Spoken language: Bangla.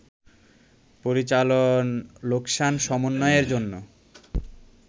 পরিচালন লোকসান সমন্বয়ের জন্য